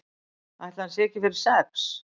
Ætli hann sé ekki fyrir sex?